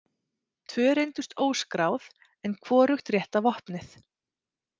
Tvö reyndust óskráð en hvorugt rétta vopnið.